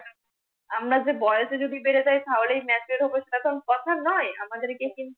আমরা যে বয়সে যদি বেড়ে যায়, তাহলে MATURED হবে সেটাতো কথা নয়। আমাদেকে কিন্তু অনেক বেশি মানুষিক ভাবে পড়তে হবে